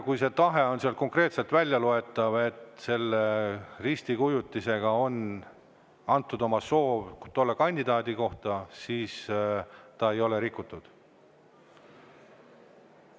Kui see tahe on sealt välja loetav, et selle risti kujutisega on oma soovi tolle kandidaadi suhtes, siis ei ole rikutud.